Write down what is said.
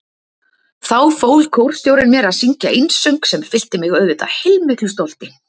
Þá fól kórstjórinn mér að syngja einsöng sem fyllti mig auðvitað heilmiklu stolti.